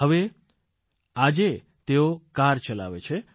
હવે આજે તેઓ કાર ચલાવે છે